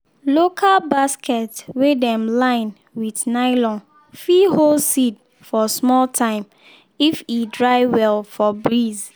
local basket wey dem line with nylon fit hold seed for smal time if e dry well for breeze